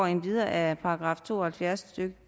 endvidere af § to og halvfjerds stykke